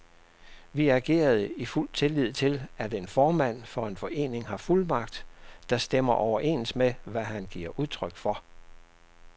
Vi agerede i fuld tillid til, at en formand for en forening har fuldmagt, der stemmer overens med, hvad han giver udtryk for.